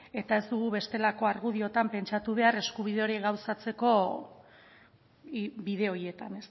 eta ez dugu bestelako argudioetan pentsatu behar eskubide hori gauzatzeko bide horietan